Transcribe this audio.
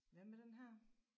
Hvad med den her?